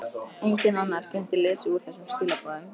Enginn annar gæti lesið úr þessum skilaboðum.